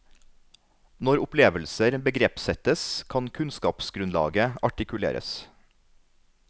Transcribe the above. Når opplevelser begrepssettes, kan kunnskapsgrunnlaget artikuleres.